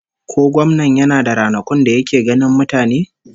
Ko gwamnan yana da ranakun da yake ganin mutane?